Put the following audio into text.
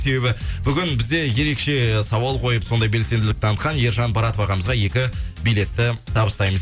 себебі бүгін бізде ерекше сауал қойып сондай белсенділік таңытқан ержан баратов ағамызға екі билетті табыстаймыз